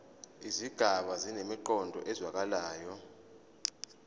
izigaba zinemiqondo ezwakalayo